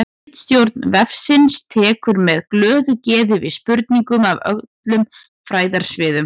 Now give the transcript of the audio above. Ritstjórn vefsins tekur með glöðu geði við spurningum af öllum fræðasviðum.